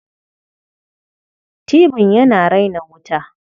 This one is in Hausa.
Tibin yana rena wuta.